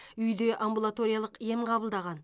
үйде амбулаториялық ем қабылдаған